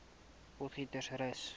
potgietersrus